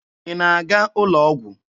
Ị na-aga ụlọ ọgwụ?